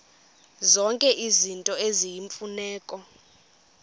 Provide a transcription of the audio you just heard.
zonke izinto eziyimfuneko